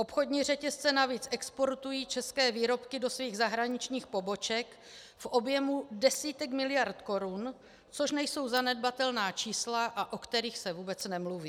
Obchodní řetězce navíc exportují české výrobky do svých zahraničních poboček v objemu desítek miliard korun, což nejsou zanedbatelná čísla, a o kterých se vůbec nemluví.